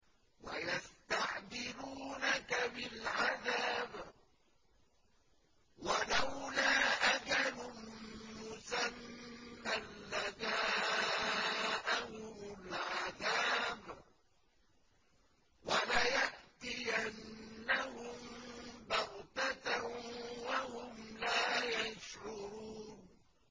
وَيَسْتَعْجِلُونَكَ بِالْعَذَابِ ۚ وَلَوْلَا أَجَلٌ مُّسَمًّى لَّجَاءَهُمُ الْعَذَابُ وَلَيَأْتِيَنَّهُم بَغْتَةً وَهُمْ لَا يَشْعُرُونَ